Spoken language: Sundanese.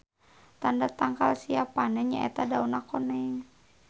Tanda tangkal siap panen nya eta dauna koneng.